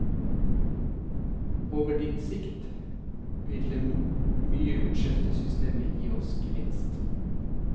Over litt sikt, vil det mye utskjelte systemet gi oss gevinst.